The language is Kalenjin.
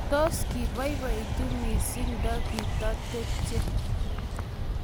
Tos, kibaibaitu missing ndigitatepche?